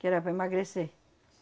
Que era para emagrecer.